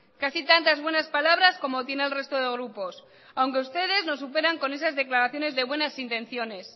casi tantas buenas palabras como tiene el resto de grupos aunque ustedes nos superan con esas declaraciones de buenas intenciones